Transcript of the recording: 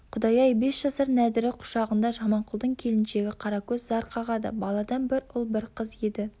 құдай-ай бес жасар нәдірі құшағында жаманқұлдың келіншегі қаракөз зар қағады баладан бір ұл бір қыз еді